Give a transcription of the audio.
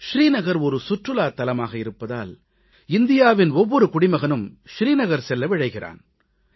ஸ்ரீநகர் சுற்றுலாத் தலமாக இருப்பதால் இந்தியாவின் ஒவ்வொரு குடிமகனும் ஸ்ரீநகர் செல்ல விழைகிறான்